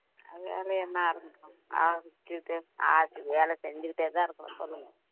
வேலை என்ன ஆரம்பிக்கணும் ஆரம்பிச்சுட்டு ஆச்சு வேலை செஞ்சுக்கிட்டேதான் இருக்கணும் சொல்லுங்க